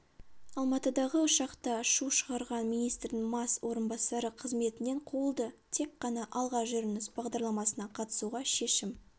алматыдағы ұшақта шу шығарған министрдің мас орынбасары қызметінен қуылды тек қана алға жүріңіз бағдарламасына қатысуға шешім